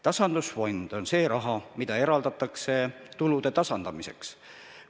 Tasandusfondis on raha, mida eraldatakse tulude tasandamiseks.